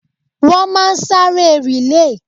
Wọ́n máa sáré rìlèè.